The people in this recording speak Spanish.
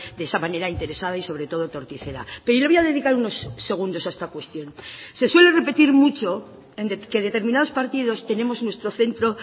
de esa manera interesada y sobre todo torticera pero le voy a dedicar unos segundos a esta cuestión se suele repetir mucho que determinados partidos tenemos nuestro centro